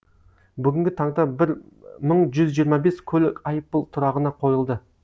бүгінгі таңда бір мың жүз жиырма бес көлік айыппұл тұрағына қойылды